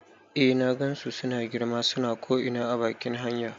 Eh na gansu suna girma, suna ko ina a bakin hanya